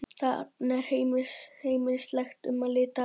Þarna er heimilislegt um að litast.